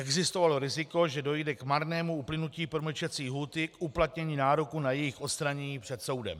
Existovalo riziko, že dojde k marnému uplynutí promlčecí lhůty k uplatnění nároku na jejich odstranění před soudem.